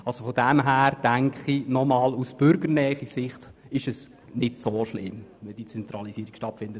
Insofern denke ich, dass es aus Sicht der Bürgernähe nicht so schlimm ist, wenn diese Zentralisierung stattfindet.